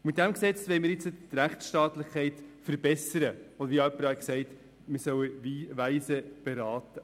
Mit diesem Gesetz wollen wir die Rechtsstaatlichkeit verbessern, und, wie jemand gesagt hat, wir sollen weise beraten.